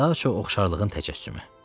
Daha çox oxşarlığın təcəssümü.